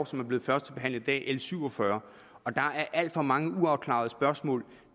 som blev førstebehandlet i dag l syv og fyrre og der er alt for mange uafklarede spørgsmål